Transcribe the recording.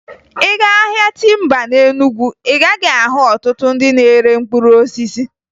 Ị gaa ahịa timba na Enugu, ị gaghị ahụ ọtụtụ ndị na-ere mkpụrụ osisi